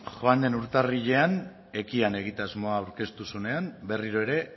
joan den urtarrilean ekian egitasmoa aurkeztu zuenean berriro ere